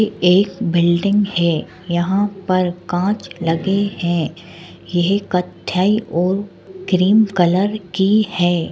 एक बिल्डिंग है यहां पर कांच लगे है। यह कथई और क्रीम कलर के है।